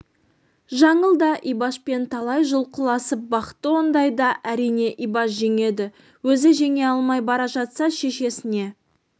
жаңыл да ибашпен талай жұлқыласып бақты ондайда әрине ибаш жеңеді өзі жеңе алмай бара жатса шешесіне